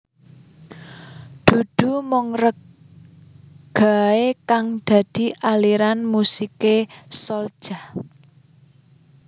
Dudu mung reggae kang dadi aliran musiké Souljah